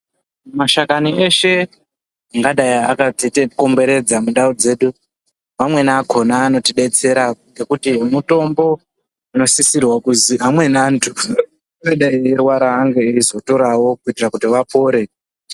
Mashakani eshe angadai akatikomberedza mundau dzedu ,amweni akona anotibetsera ngekuti mutombo unosisira kuti amweni anthu eirwara anomwa kuti apone .